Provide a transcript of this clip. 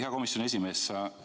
Hea komisjoni esimees!